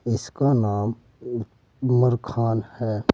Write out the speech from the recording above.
इसका नाम उ उमर खान है।